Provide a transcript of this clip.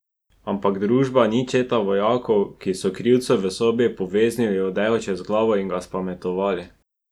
Ampak družba ni četa vojakov, ki so krivcu v sobi poveznili odejo čez glavo in ga spametovali.